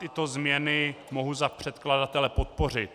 Tyto změny mohu za předkladatele podpořit.